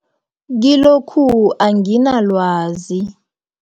Kilokhu anginalwazi.